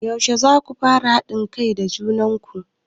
Yaushe zaku fara haɗin kai da junan ku?